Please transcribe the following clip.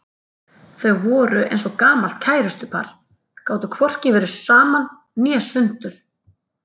Þau voru eins og gamalt kærustupar, gátu hvorki verið saman né sundur.